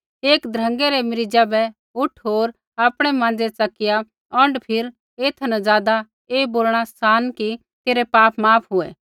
एक ध्रँगै रै मरीज़ा बै उठ होर आपणै माँज़ै च़किया औंढ फिर एथा न ज़ादा ऐ बोलणा सान कि तेरै पाप माफ हुऐ